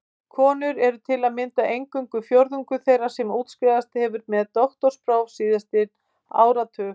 Konur eru til að mynda eingöngu fjórðungur þeirra sem útskrifast hefur með doktorspróf síðasta áratug.